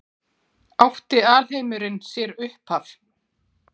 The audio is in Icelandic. Átti alheimurinn sér upphaf?